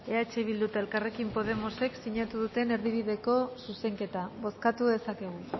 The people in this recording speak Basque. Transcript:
eh bildu eta elkarrekin podemosek sinatu duten erdibideko zuzenketa bozkatu dezakegu